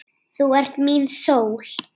Þú ert mín sól.